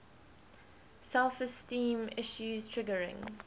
self esteem issues triggering